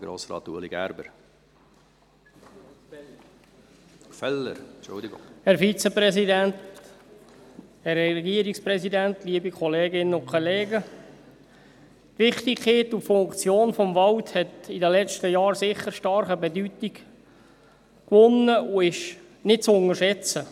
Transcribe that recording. Die Wichtigkeit und die Funktion des Waldes hat in den letzten Jahren sicher stark an Bedeutung gewonnen und ist nicht zu unterschätzen.